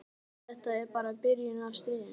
En þetta var bara byrjunin á stríðinu.